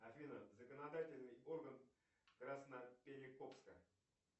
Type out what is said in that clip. афина законодательный орган красноперекопска